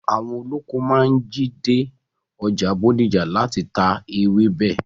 Àwọn olóko máa ń jí dé ọjà Bódìjà láti ta ewébẹ̀.